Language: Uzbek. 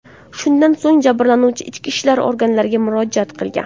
Shundan so‘ng jabrlanuvchi ichki ishlar organlariga murojaat qilgan.